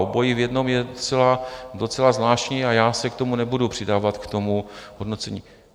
Obojí v jednom je docela zvláštní a já se k tomu nebudu přidávat, k tomu hodnocení.